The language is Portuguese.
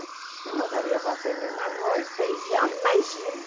Eu não sabia fazer nenhum arroz, feijão, imagina.